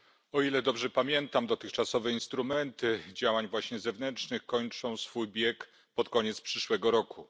O ile dobrze pamiętam, dotychczasowe instrumenty właśnie działań zewnętrznych kończą swój bieg pod koniec przyszłego roku.